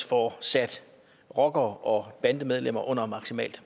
får sat rockere og bandemedlemmer under maksimalt